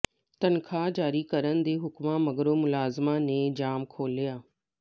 ਤਨਖਾਹ ਜਾਰੀ ਕਰਨ ਦੇ ਹੁਕਮਾਂ ਮਗਰੋਂ ਮੁਲਾਜ਼ਮਾਂ ਨੇ ਜਾਮ ਖੋਲ੍ਹਿਆ